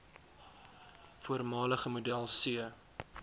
voormalige model c